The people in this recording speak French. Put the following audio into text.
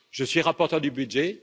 Je suis rapporteur du budget.